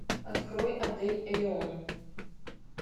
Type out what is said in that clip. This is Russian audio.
открой отель элеон